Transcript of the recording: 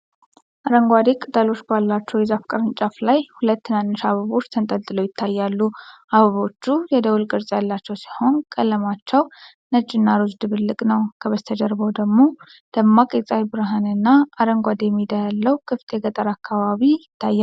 አረንጓዴ ቅጠሎች ባለው የዛፍ ቅርንጫፍ ላይ ሁለት ትናንሽ አበቦች ተንጠልጥለው ይታያሉ። አበቦቹ የደወል ቅርፅ ያላቸው ሲሆኑ፤ ቀለማቸው ነጭና ሮዝ ድብልቅ ነው። ከበስተጀርባው ደግሞ ደማቅ የፀሐይ ብርሃን እና አረንጓዴ ሜዳ ያለው ክፍት የገጠር አካባቢ ይታያል